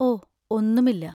ഓ, ഒന്നുമില്ല.